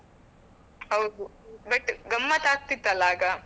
ಹೌದು but ಗಮ್ಮತ್ ಆಗ್ತಿತ್ತು ಅಲಾ ಆಗ.